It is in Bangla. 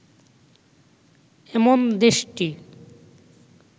'এমন দেশটি